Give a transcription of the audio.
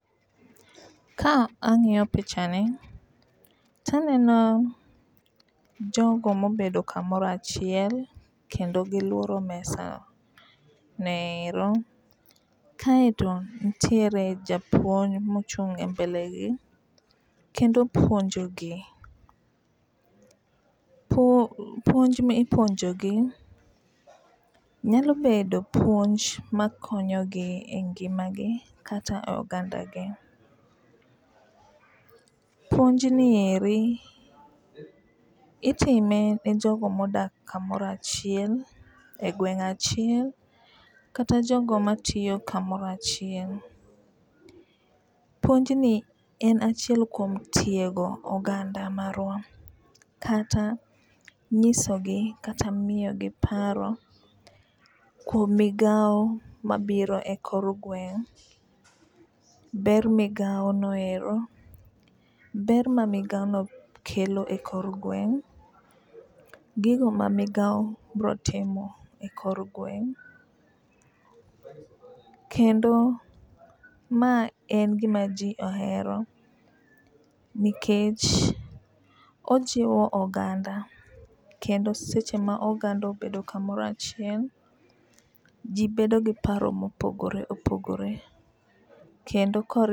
Ka ang'iyo pichani to aneno jogo mobedo kamoro achiel kendo giluoro mesa no ero. Kaeto nitiere japuonj mochung' e mbele gi kendo puonjo gi. Puonj mi ipionjo gi nyalobedo puonj makonyogi e ngima gi kata e oganda gi. Puonj ni eri itime ne joogo modak kamoro achiel e gweng' achiel kata jogo matiyo kamoro achiel. Puonj ni en achiel kuom tiego oganda marwa kata nyisogi kata miyogi paro kuom migawo mabiro e kor gweng', ber migawo no ero, ber ma migawo no kelo e kor gweng', gigo ma migawo biro timo e kor gweng'. Kendo ma en gima ji ohero nikech ojiwo oganda kendo seche ma oganda obedo kamoro achiel ji bedo gi paro mopogore opogore kendo.